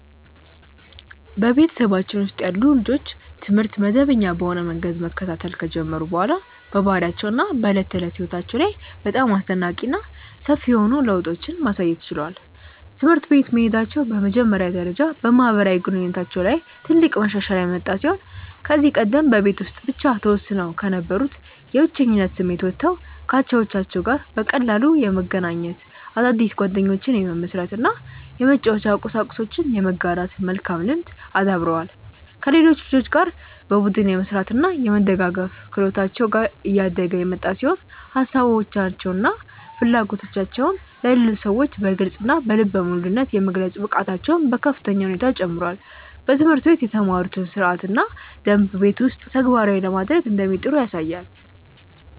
በቤተሰባችን ውስጥ ያሉ ልጆች ትምህርት መደበኛ በሆነ መንገድ መከታተል ከጀመሩ በኋላ በባህሪያቸው እና በዕለት ተዕለት ሕይወታቸው ላይ በጣም አስደናቂ እና ሰፊ የሆኑ ለውጦችን ማሳየት ችለዋል። ትምህርት ቤት መሄዳቸው በመጀመሪያ ደረጃ በማህበራዊ ግንኙነታቸው ላይ ትልቅ መሻሻል ያመጣ ሲሆን ከዚህ ቀደም በቤት ውስጥ ብቻ ተወስነው ከነበሩበት የብቸኝነት ስሜት ወጥተው ከአቻዎቻቸው ጋር በቀላሉ የመገናኘት፣ አዳዲስ ጓደኞችን የመመስረት እና የመጫወቻ ቁሳቁሶችን የመጋራት መልካም ልምድን አዳብረዋል። ከሌሎች ልጆች ጋር በቡድን የመስራት እና የመደጋገፍ ክህሎታቸው እያደገ የመጣ ሲሆን ሀሳባቸውን እና ፍላጎቶቻቸውን ለሌሎች ሰዎች በግልፅ እና በልበ ሙሉነት የመግለጽ ብቃታቸውም በከፍተኛ ሁኔታ ጨምሯል። በትምህርት ቤት የተማሩትን ሥርዓትና ደንብ ቤት ውስጥም ተግባራዊ ለማድረግ እንደሚጥሩ ያሳያል።